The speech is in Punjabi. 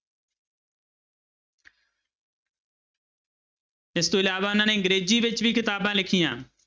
ਇਸ ਤੋਂ ਇਲਾਵਾ ਉਹਨਾਂ ਨੇ ਅੰਗਰੇਜ਼ੀ ਵਿੱਚ ਵੀ ਕਿਤਾਬਾਂ ਲਿਖੀਆਂ।